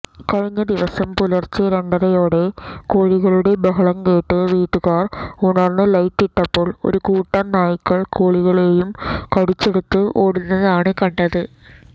കഴിഞ്ഞദിവസം പുലർച്ചെ രണ്ടരയോടെ കോഴികളുടെ ബഹളംകേട്ട് വീട്ടുകാർ ഉണർന്ന് ലൈറ്റിട്ടപ്പോൾ ഒരു കൂട്ടം നായ്ക്കൾ കോഴികളെയും കടിച്ചെടുത്ത് ഓടുന്നതാണ് കണ്ടത്